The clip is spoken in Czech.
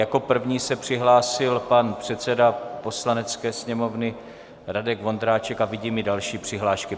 Jako první se přihlásil pan předseda Poslanecké sněmovny Radek Vondráček a vidím i další přihlášky.